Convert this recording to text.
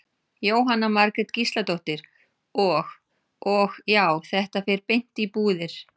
Jóhanna Margrét Gísladóttir: Og, og já, þetta fer beint í búðir?